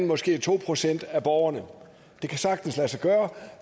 måske to procent af borgerne det kan sagtens lade sig gøre